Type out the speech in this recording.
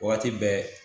Wagati bɛɛ